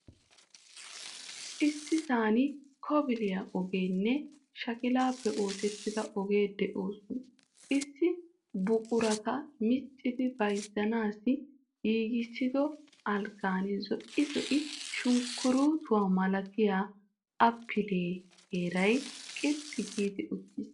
Issisaan kobile ogeenne shakilaappe ossetida ogee de'iyosaan, issi buqurata miccidi bayzzanawu giigissido algaan zo'ii zo'idi sunkkurutuwa malatiya appliya teeray qilxxi gi uttiis.